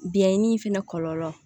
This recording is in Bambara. Biyɛn dimi fɛnɛ kɔlɔlɔ